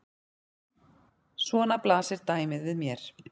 Svona blasir dæmið við mér.